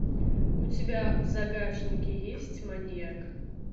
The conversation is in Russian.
у тебя в загашнике есть маньяк